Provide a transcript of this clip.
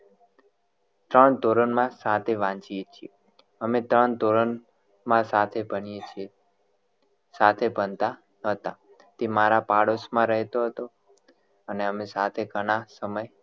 ત્રણ ધોરણ માં સાથે વાંચીએ છીએ અમે ત્રણ ધોરણ માં સાથે ભણીએ છે સાથે ભણતા હતા તે મારા પાડોશ માં રહેતો હતો અને અમે સાથે ઘણા સમય